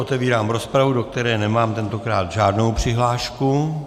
Otevírám rozpravu, do které nemám tentokrát žádnou přihlášku.